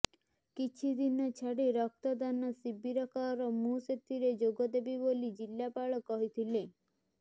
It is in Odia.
କିଛିଦିନ ଛାଡି ରକ୍ତଦାନ ଶିବିର କର ମୁଁ ସେଥିରେ ଯୋଗଦେବି ବୋଲି ଜିଲ୍ଲାପାଳ କହିଥିଲେ